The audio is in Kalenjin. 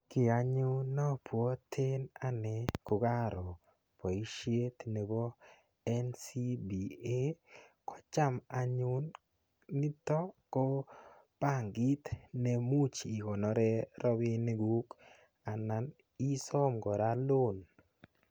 Kiy anyun ne abwoten ane kogaro boisiet nebo NCBA, kocham anyun niton ko bankit nemuch ikonore rabinik kuk. Anan isom kora loan.